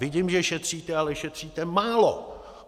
Vidím, že šetříte, ale šetříte málo.